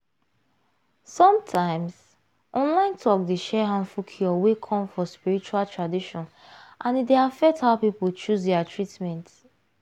some times online talk dey share harmful cure wey come from spiritual traditions and e dey affect how people choose their treatment.